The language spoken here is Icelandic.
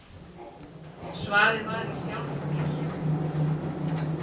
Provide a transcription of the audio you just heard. Svarið var í sjálfum mér.